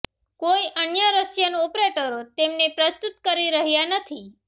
કોઈ અન્ય રશિયન ઓપરેટરો તેમને પ્રસ્તુત કરી રહ્યાં નથી